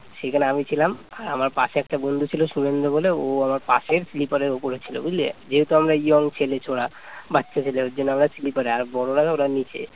সেখানে আমি ছিলাম আমার পাশে একটা বন্ধু ছিল সুমন্ত বলে ও আমার আমার পাশের sleeper এর উপরে ছিল বুঝলি যেহেতু আমরা young ছেলে ছোড়া বাচ্চা ছেলে ওই জন্য আমরা sleeper এ আর বড়রা ওরা নিচে